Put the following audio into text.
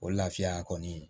O lafiya kɔni